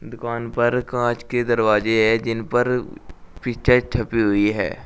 दुकान पर कांच के दरवाजे है जिन पर पिक्चर छपी हुई है।